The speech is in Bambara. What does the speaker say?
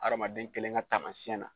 Adamaden kelen ka taamasiɲɛn na.